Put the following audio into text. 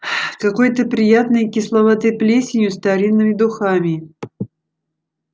какой-то приятной кисловатой плесенью старинными духами